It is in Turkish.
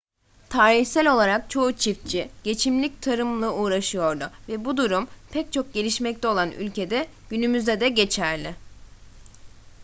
tarihsel olarak çoğu çiftçi geçimlik tarımla uğraşıyordu ve bu durum pek çok gelişmekte olan ülkede günümüzde de geçerli